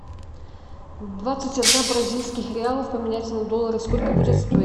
двадцать одна бразильских реалов поменять на доллары сколько будет стоить